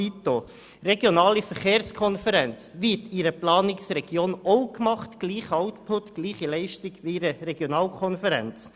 Die regionale Verkehrskonferenz wird auch von einer Planungsregion organisiert mit dem gleichen Output und der gleichen Leistung wie bei einer Regionalkonferenz.